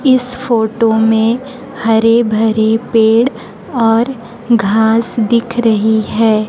इस फोटो में हरे भरे पेड़ और घास दिख रही है।